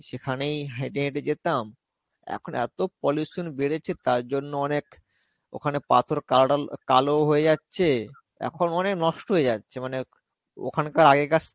সেখানেই হেঁটে হেঁটে যেতাম. এখন এত্তো pollution বেড়েছে তারজন্যে অনেক ওখানে পাথর কাডল কালো হয়ে যাচ্ছে, এখন অনেক নষ্ঠ হয়ে যাচ্ছে মানে ওখানকার আগেকার